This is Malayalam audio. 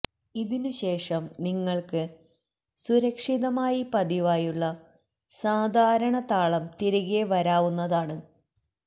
ഇതിനുശേഷം നിങ്ങൾക്ക് സുരക്ഷിതമായി പതിവായുള്ള സാധാരണ താളം തിരികെ വരാവുന്നതാണ്